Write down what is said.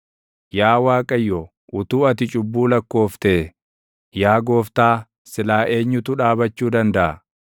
Yaa Waaqayyo, utuu ati cubbuu lakkooftee, yaa gooftaa silaa eenyutu dhaabachuu dandaʼa?